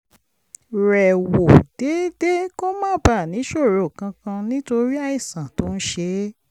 rẹ̀ wò déédéé kó má bàa níṣòro kankan nítorí àìsàn tó ń ṣe é